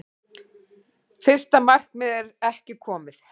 Fyrsta markmið er ekki komið